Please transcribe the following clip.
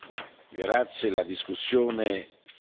La discussione è chiusa.